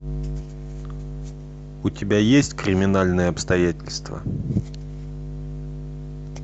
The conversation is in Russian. у тебя есть криминальные обстоятельства